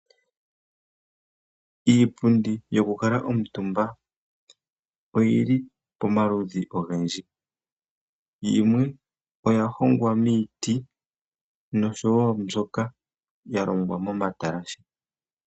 Iipundi yoku kala omutumba oyili pamaludhi ogendji, yimwe oyahongwa miiti nosho wo mbyoka yalongwa momatalashe.